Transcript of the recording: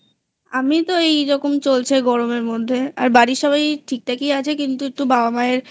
আমি তো এইরকম চলছে গরমের মধ্যে আর বাড়ির সবাই ঠিকঠাকই আছে কিন্তু একটু বাবা মায়ের